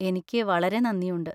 എനിക്ക് വളരെ നന്ദിയുണ്ട്.